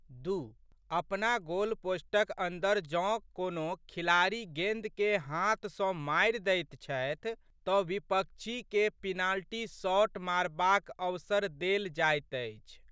दू.अपना गोलपोस्टक अन्दर जौं कोनो खिलाड़ी गेंदकेँ हाथ सँ मारि दैत छथि तऽ विपक्षीकेँ पिनॉल्टी शॉट मारबाक अवसर देल जाइत अछि।